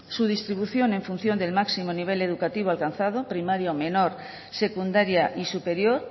su distribución en función del máximo nivel educativo alcanzado primaria o menor secundaria y superior